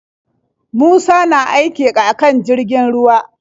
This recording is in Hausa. Musa na aiki akan jirgin ruwa.